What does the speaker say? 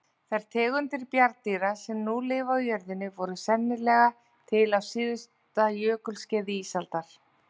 Þær tegundir bjarndýra sem nú lifa á jörðinni voru sennilega til á síðasta jökulskeiði ísaldar.